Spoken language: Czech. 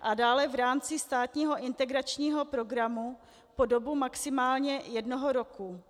a dále v rámci státního integračního programu po dobu maximálně jednoho roku.